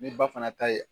Ni ba fana ta ye